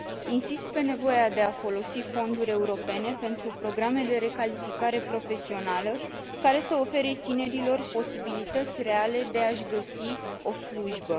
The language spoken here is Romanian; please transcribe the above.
Insist pe nevoia de a folosi fonduri europene pentru programe de recalificare profesională, care să ofere tinerilor posibilități reale de a și găsi o slujbă.